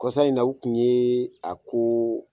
Kɔsa in na, u kun ye a ko